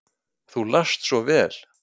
Þú last svo vel.